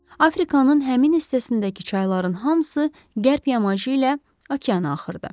Afrikanın həmin hissəsindəki çayların hamısı qərb yamacı ilə okeana axırdı.